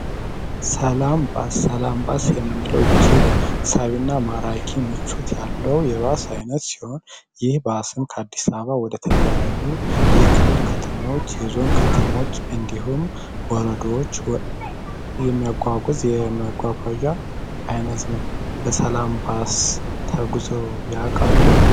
ሰላም ባስ ሰላም ባስ እጅግ ሳቢና ማራኪ ምቾት ያለው የባስ አይነት ሲሆን ይህ ባስም ከአዲስ አበባ ወደ ተለያዩ ክልል ከተሞች የዞን ከተሞች እንዲሁም ወረዳዎች የሚያጓጉዝ የመጓጓዣ አይነት ነው በሰላም ባስ ተጉዘው ያውቃሉ?